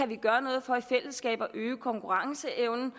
kan gøre noget for i fællesskab at øge konkurrenceevnen